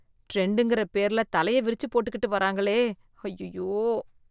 ட்ரெண்ட்ங்கற பேர்ல தலைய விரிச்சு போட்டுகிட்டு வராங்களே, அய்யய்யோ.